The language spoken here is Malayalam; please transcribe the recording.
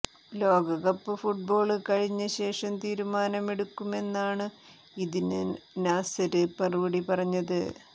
ലോകകപ്പ് ഫുട്ബോള് കഴിഞ്ഞ ശേഷം തീരുമാനമെടുക്കുമെന്നാണു ഇതിന് നാസര് മറുപടി പറഞ്ഞത്